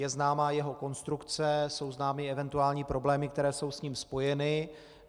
Je známa jeho konstrukce, jsou známy eventuální problémy, které jsou s ním spojeny.